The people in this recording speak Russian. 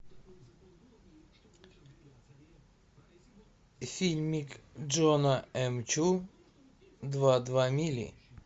фильмик джона эм чу два два мили